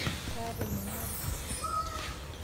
Kaata enyamali.